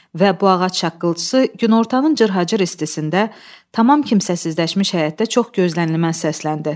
Və bu ağac şaqqıltısı günortanın cırhacır istisində tamam kimsəsizləşmiş həyətdə çox gözlənilməz səsləndi.